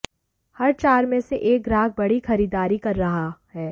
हर चार में से एक ग्राहक बड़ी खरीदारी कर रहा है